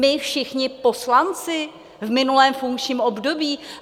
My všichni poslanci v minulém funkčním období?